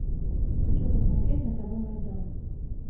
хочу посмотреть на тв майдан